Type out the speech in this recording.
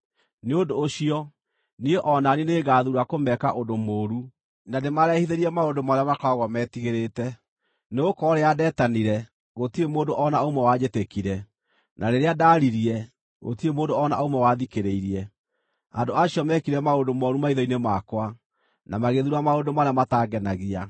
nĩ ũndũ ũcio, niĩ o na niĩ nĩngathuura kũmeka ũndũ mũũru na ndĩmarehithĩrie maũndũ marĩa matũmaga metigĩrĩte. Nĩgũkorwo rĩrĩa ndetanire, gũtirĩ mũndũ o na ũmwe wanjĩtĩkire, na rĩrĩa ndaaririe, gũtirĩ mũndũ o na ũmwe wathikĩrĩirie. Andũ acio meekire maũndũ mooru maitho-inĩ makwa, na magĩthuura maũndũ marĩa matangenagia.”